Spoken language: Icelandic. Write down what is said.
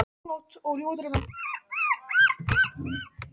Góða nótt og ljúfa drauma.